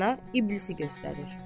Rəana iblisi göstərir.